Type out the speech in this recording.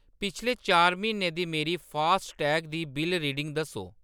पिछले चार म्हीनें दी मेरी फास्टैग दी बिल्ल रीडिंग दस्सो।